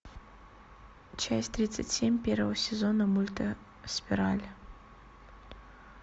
часть тридцать семь первого сезона мульта спираль